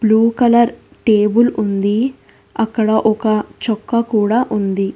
Blue colour table ఉంది అక్కడ ఒక చొక్కా కూడా ఉంది.